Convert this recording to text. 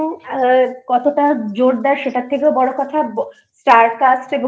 এর ওপর কতটা জোর দেয় সেটার থেকেও বড়ো কথা Starcast